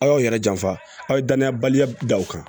Aw yɛrɛ janfa aw ye danaya baliya da o kan